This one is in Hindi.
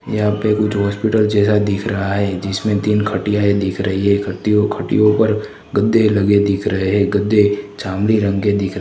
यहां पे कुछ हॉस्पिटल जैसा दिख रहा है जिसमें तीन खटियाए दिख रही हैं खतियो खटियो पर गद्दे लगे दिख रहे हैं गद्दे जामुनी रंग के दिख रहे--